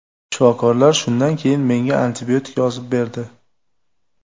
Shifokorlar shundan keyin menga antibiotik yozib berdi.